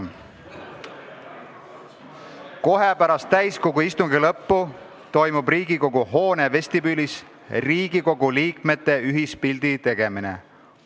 Teine teade: kohe pärast täiskogu istungi lõppu toimub Riigikogu hoone vestibüülis Riigikogu liikmete ühispildi tegemine.